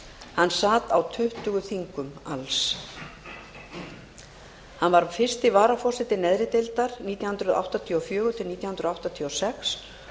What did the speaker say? hann sat á tuttugu þingum alls hann var fyrsti varaforseti neðri deildar nítján hundruð áttatíu og fjögur til nítján hundruð áttatíu og sex